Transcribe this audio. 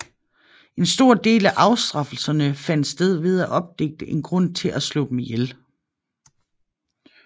En stor del af afstraffelserne fandt sted ved at opdigte en grund til at slå dem ihjel